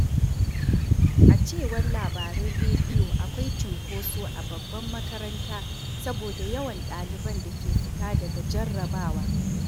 A cewar labarun rediyo, akwai cunkoso a babbar makaranta saboda yawan ɗaliban da ke fita daga jarrabawa.